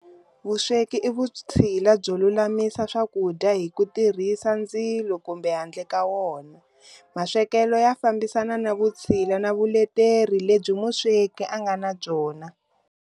Vusweki i vutshila byo lumamisa swakudya hi kutirhisa ndzilo kumbe handle ka wona. Maswekelo ya fambisana na vutshila na vuleteri lebyi musweki angana byona.